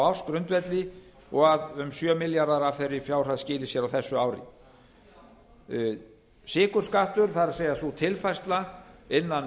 ársgrundvelli og að um sjö milljarðar af þeirri fjárhæð skili sér á þessu ári sykurskattur það er sú tilfærsla innan